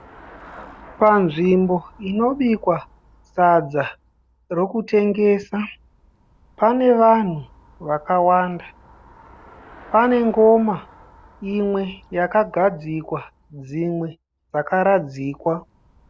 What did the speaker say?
Panzvimbo inobikwa sadza rokutengesa, pane vanhu vakawanda. Pane ngoma imwe yakagadzikwa, dzimwe dzakaradzikwa.